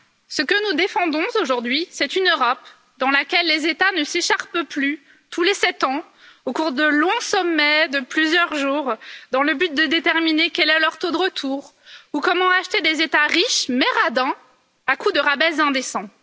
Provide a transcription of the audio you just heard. Ce que nous défendons aujourd'hui, c'est une Europe dans laquelle les États ne s'écharpent plus tous les sept ans, au cours de longs sommets de plusieurs jours, dans le but de déterminer quel est leur taux de retour ou comment acheter des États riches mais radins à coup de rabais indécents.